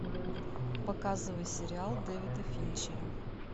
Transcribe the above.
показывай сериал дэвида финчера